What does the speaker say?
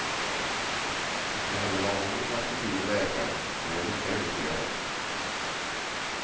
Inte heller var hon i maskopi med läkaren, det är jag lika övertygad om.